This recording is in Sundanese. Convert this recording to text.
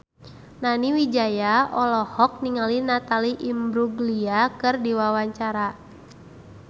Nani Wijaya olohok ningali Natalie Imbruglia keur diwawancara